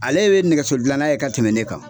Ale be nɛgɛso dilanna ye ka tɛmɛ ne kan.